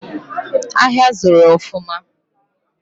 Ahịa zuru ofuma